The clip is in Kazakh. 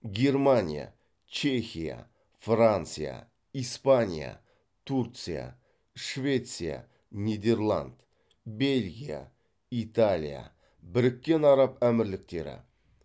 германия чехия франция испания турция швеция нидерланд бельгия италия біріккен араб әмірліктері